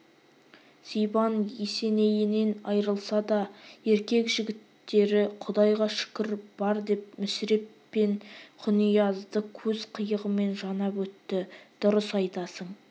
сибан есенейінен айрылса да еркек жігіттері құдайға шүкір бар деп мүсіреп пен құниязды көз қиығымен жанап өтті дұрыс айтасың